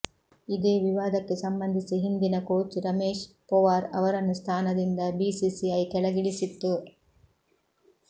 ಇದೇ ವಿವಾದಕ್ಕೆ ಸಂಬಂಧಿಸಿ ಹಿಂದಿನ ಕೋಚ್ ರಮೇಶ್ ಪೊವಾರ್ ಅವರನ್ನು ಸ್ಥಾನದಿಂದ ಬಿಸಿಸಿಐ ಕೆಳಗಿಳಿಸಿತ್ತು